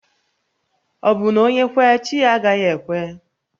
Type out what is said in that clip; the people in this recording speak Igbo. Obu na onye kwe, chi ya agaghi ekwe?